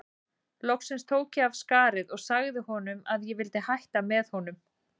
Loks tók ég af skarið og sagði honum að ég vildi hætta með honum.